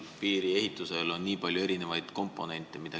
Piiri ehitamisel on mängus nii palju erinevaid komponente.